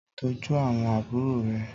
Tòjú áwòn ábúrò rè